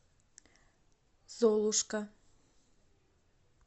золушка